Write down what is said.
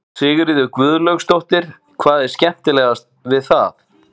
Sigríður Guðlaugsdóttir: Hvað er skemmtilegt við það?